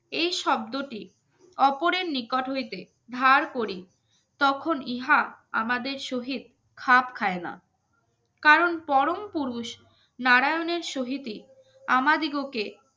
এই শব্দটি অপরের নিকট হইতে ধার করি তখন ইহা আমাদের শহীদ খাপ খায় না কারণ পরম পুরুষ নারায়ণের সহিতে আমাদিগকে